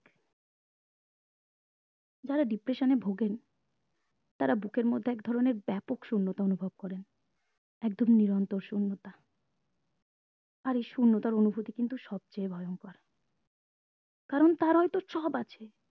যারা depression এ ভোগেন তারা বুকের মধ্যে এক ধরণের ব্যাপক শুন্যতা অনুভব করেন একদম নিরন্তর শুন্যতা আর এই শুন্যতার অনুভূতি কিন্তু সব চেয়ে ভয়ঙ্কর কারণ তার হয়তো সব আছে